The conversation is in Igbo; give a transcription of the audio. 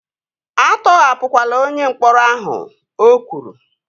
A tọhapụla onye mkpọrọ ahụ! O kwuru